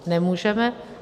Nemůžeme.